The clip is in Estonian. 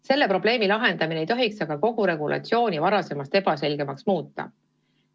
Selle probleemi lahendamine ei tohiks aga kogu regulatsiooni varasemast ebaselgemaks muuta.